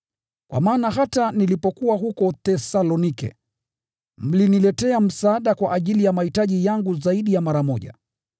Kwa maana hata nilipokuwa huko Thesalonike, mliniletea msaada kwa ajili ya mahitaji yangu zaidi ya mara moja.